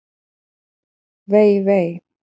Vei, vei!